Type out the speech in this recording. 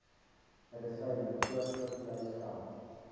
medisyne voorskriflys geld